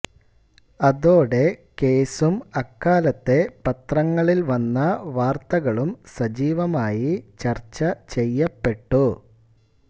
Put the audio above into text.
അതോടെ കേസും അക്കാലത്തെ പത്രങ്ങളിൽ വന്ന വാർത്തകളും സജീവമായി ചർച്ച ചെയ്യപ്പെട്ടു